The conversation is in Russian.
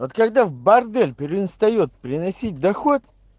вот когда в бордель перестаёт приносить доход